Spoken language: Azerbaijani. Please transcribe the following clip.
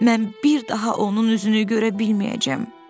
Mən bir daha onun üzünü görə bilməyəcəm.